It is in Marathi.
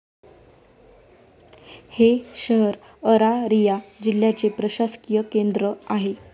हे शहर अरारिया जिल्याचे प्रशासकीय केंद्र आहे.